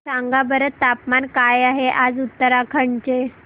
सांगा बरं तापमान काय आहे आज उत्तराखंड चे